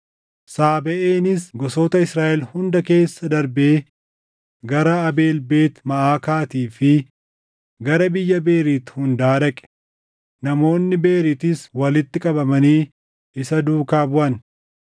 Saabeʼeenis gosoota Israaʼel hunda keessa darbee gara Abeel Beet Maʼaakaatii fi gara biyya Beeriit hundaa dhaqe; namoonni Beeriitis walitti qabamanii isa duukaa buʼan.